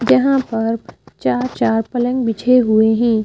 जहां पर चार-चार पलंग बिछे हुए हैं ।